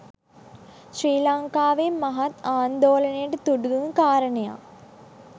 ශ්‍රී ලංකාවේ මහත් ආන්දෝලනයට තුඩු දුන් කාරණයක්.